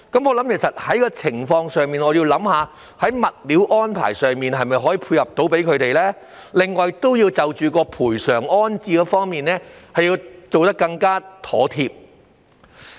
我認為在這情況下，要想一想能否在物料安排上配合居民的要求，並就賠償安置作出更妥貼的安排。